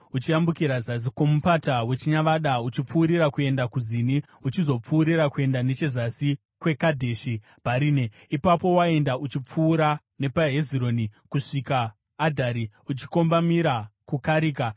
uchiyambukira zasi kwoMupata weChinyavada uchipfuurira kuenda kuZini uchizopfuurira kuenda nechezasi kweKadheshi Bharinea. Ipapo waienda uchipfuura nepaHezironi kusvika kuAdhari uchikombamira kuKarika.